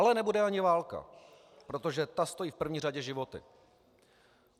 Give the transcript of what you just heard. Ale nebude ani válka, protože ta stojí v první řadě životy.